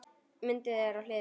Myndin er á hlið.